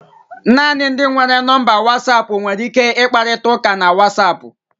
Naanị ndị nwere nọmba Wasapu nwere ike ịkparịta ụka na Wasapu